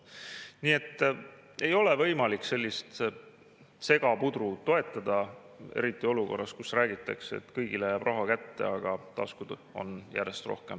Nii et ei ole võimalik sellist segaputru toetada, eriti olukorras, kus räägitakse, et kõigile jääb raha kätte, aga taskud on järjest tühjemad.